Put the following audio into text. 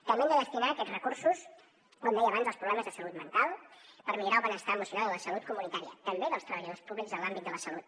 també hem de destinar aquests recursos com deia abans als problemes de salut mental per millorar el benestar emocional i la salut comunitària també dels treballadors públics en l’àmbit de la salut